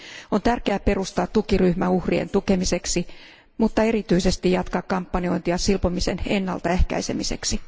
On tärkeää perustaa tukiryhmä uhrien tukemiseksi mutta erityisesti jatkaa kampanjointia silpomisen ennaltaehkäisemiseksi.